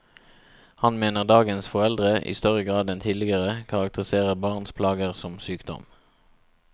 Han mener dagens foreldre, i større grad enn tidligere, karakteriserer barns plager som sykdom.